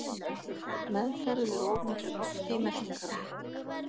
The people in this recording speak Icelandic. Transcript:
Meðferð við of miklu lofti í meltingarvegi